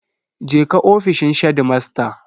Je ka ofishin shedimasta.